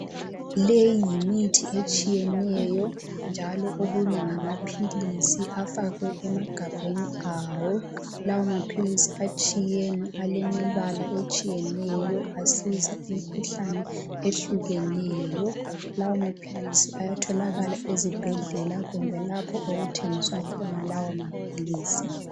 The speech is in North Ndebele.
Leyi yimithi etshiyeneyo njalo okunye ngamaphilisi afakwe emagabheni awo. Lawo maphilisi atshiyene alemibala etshiyeneyo asiza imikhuhlane ehlukeneyo. Lawo maphilisi ayatholakala ezibhedlela kumbe lapho okuthengiswa khona lawo maphilisi